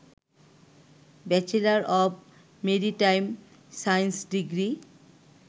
bachelor of maritime science degree